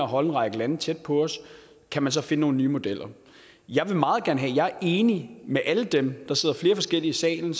holde en række lande tæt på os kan man så finde nogle nye modeller jeg er enig med alle dem som der sidder flere forskellige i salen